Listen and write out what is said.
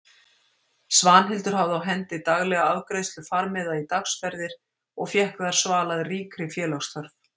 Svanhildur hafði á hendi daglega afgreiðslu farmiða í dagsferðir og fékk þar svalað ríkri félagsþörf.